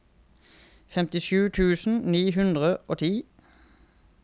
femtisju tusen ni hundre og ti